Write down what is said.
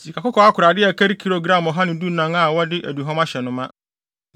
sikakɔkɔɔ akorade a ɛkari gram ɔha ne dunan (114) a wɔde aduhuam ahyɛ no ma;